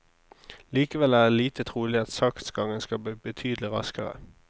Likevel er det lite trolig at saksgangen skal bli betydelig raskere.